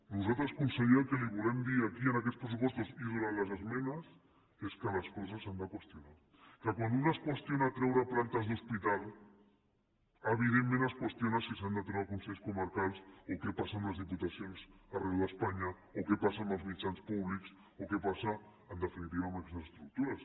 nosaltres conseller el que li volem dir aquí en aquests pressupostos i durant les esmenes és que les coses s’han de qüestionar que quan es qüestiona treure plantes d’hospital evidentment es qüestiona si s’han de treure consells comarcals o què passa amb les diputacions arreu d’espanya o què passa amb els mitjans públics o què passa en definitiva amb aquestes estructures